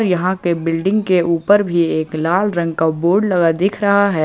यहां के बिल्डिंग के ऊपर भी एक लाल रंग का बोर्ड लगा दिख रहा है।